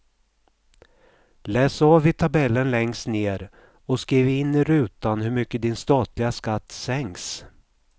Läs av i tabellen längst ner och skriv in i rutan hur mycket din statliga skatt sänks.